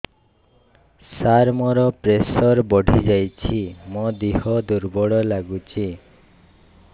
ସାର ମୋର ପ୍ରେସର ବଢ଼ିଯାଇଛି ମୋ ଦିହ ଦୁର୍ବଳ ଲାଗୁଚି